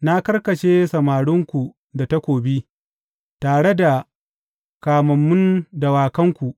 Na karkashe samarinku da takobi, tare da kamammun dawakanku.